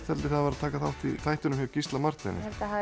var að taka þátt í þættinum með Gísla Marteini